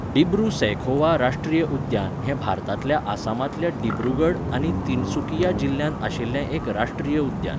डिब्रू सैखोवा राश्ट्रीय उद्यान हें भारतांतल्या आसामांतल्या डिब्रुगड आनी तिनसुकिया जिल्ह्यांत आशिल्लें एक राश्ट्रीय उद्यान.